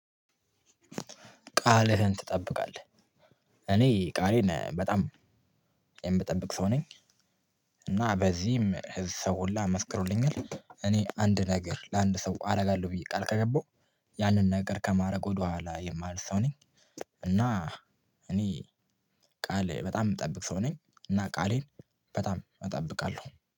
ቃልህን ትጠብቃለህ? እኔ ቃሌን በጣም የምጠብቅ ሰው ነኝ። እና በዚህም ህዝብ ሰው ሁላ መስክሮልኛል። እኔ አንድ ነገር ለአንድ ሰው አደርጋለሁ ብየ ቃል ከገባሁ ያንን ነገር ከማድረግ ወደኋላ የማልል ሰው ነኝ። እና እኔ ቃሌ በጣም የምጠብቅ ሰው ነኝ። እና ቃሌን በጣም እጠብቃለሁ።